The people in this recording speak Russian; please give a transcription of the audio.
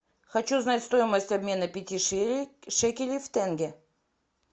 хочу знать стоимость обмена пяти шекелей в тенге